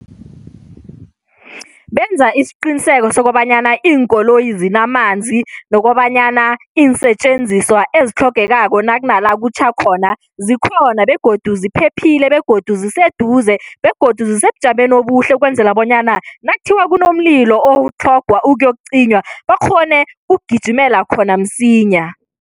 Benza isiqiniseko sokobanyana iinkoloyi zinamanzi nokobanyana iinsetjenziswa ezitlhogekako nakunala kutjha khona zikhona begodu ziphephile begodu ziseduze begodu zisebujameni obuhle ukwenzela bonyana nakuthiwa kunomlilo otlhogwa ukuyokucinywa bakghone ukugijimela khona msinya.